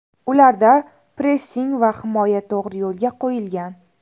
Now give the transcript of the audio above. Ularda pressing va himoya to‘g‘ri yo‘lga qo‘yilgan.